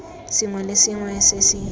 sengwe le sengwe se se